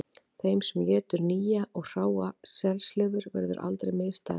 Þeim sem étur nýja og hráa selslifur verður aldrei misdægurt